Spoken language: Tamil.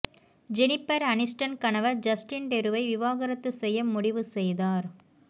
ஜெனிபர் அனிஸ்டன் கணவர் ஜஸ்டின் டெருவை விவாகரத்து செய்ய முடிவு செய்தார்